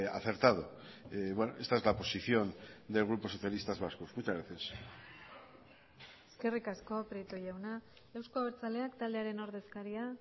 acertado esta es la posición del grupo socialistas vascos muchas gracias eskerrik asko prieto jauna euzko abertzaleak taldearen ordezkaria